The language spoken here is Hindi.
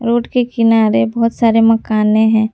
रोड के किनारे बहुत सारे मकाने हैं।